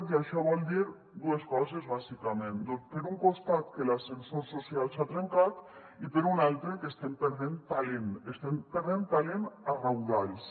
i això vol dir dues coses bàsicament doncs per un costat que l’ascensor social s’ha trencat i per un altre que estem perdent talent estem perdent talent a raudals